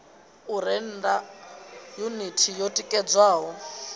u rennda yuniti yo tikedzelwaho